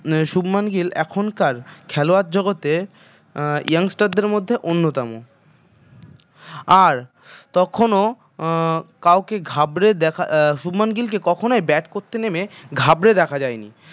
শুভমান গিল এখনকার খেলোয়াড় জগতে আহ young star দের মধ্যে অন্যতম আর তখনও আহ কাউকে ঘাবড়ে শুভমান গিলকে কখনই bat করতে নেমে ঘাবড়ে দেখা যায় নি